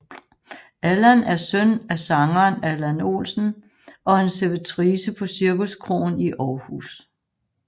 Allan er søn af sangeren Allan Olsen og en servitrice på Cirkuskroen i Aarhus